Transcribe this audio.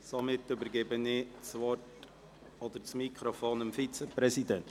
Somit übergebe ich das Wort oder das Mikrofon dem Vizepräsidenten.